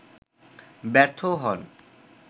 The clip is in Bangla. ব্যর্থও হন